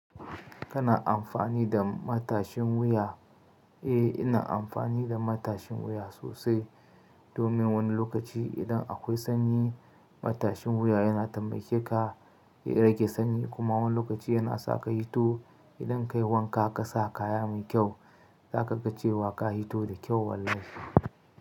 Kana amfani da matashin wuya? Eh, ina amfani da matashin wuya sosai domin wani lokaci idan akwai sanyi matashin wuya yana taimake ka ya rage sanyi kuma wani lokaci yana sa kai fito idan dai wanka ka sa kaya mai kyau, za ka ga cewa ka hito da kyau wallahi.